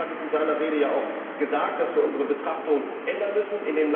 Claude Turmes hat in seiner Rede ja auch gesagt, dass wir unsere Betrachtung ändern müssen.